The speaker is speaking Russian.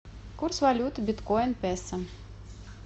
курс валюты биткоин песо